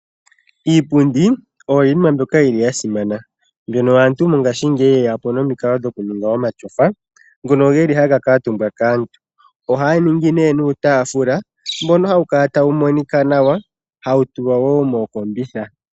Iipundi oyo yimwe yili simana. Aantu mongashi ngeyi oye ya po nomikalo dhokuninga omatyofa, ngoka taga vulu oku kuutumbwa kaantu. Oha ya ningi nee nuutafula mboka hawu kala tawu monika nawa, hawu tulwa wo mookombitha.